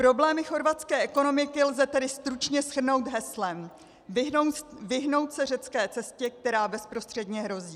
Problémy chorvatské ekonomiky lze tedy stručně shrnout heslem: vyhnout se řecké cestě, která bezprostředně hrozí.